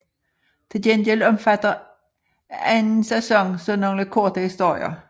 Til gengæld omfatter anden sæson så nogle korte historier